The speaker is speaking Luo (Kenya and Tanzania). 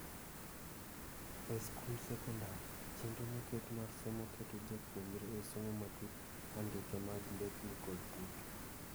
E skund sekondar, chenro moketi mar somo keto japuonjre e somo matut andike mag mbekni kod tuke.